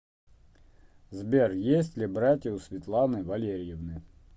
сбер есть ли братья у светланы валерьевны